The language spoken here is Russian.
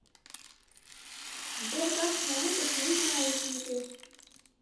сбер как самому починить наушники